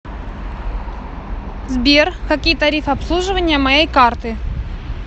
сбер какие тарифы обслуживания моей карты